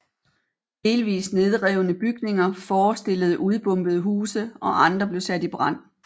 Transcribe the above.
Delvis nedrevne bygninger forestillede udbombede huse og andre blev sat i brand